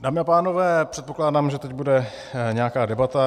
Dámy a pánové, předpokládám, že teď bude nějaká debata.